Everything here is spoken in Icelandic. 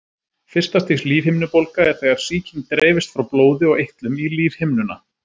fyrsta stigs lífhimnubólga er þegar sýking dreifist frá blóði og eitlum í lífhimnuna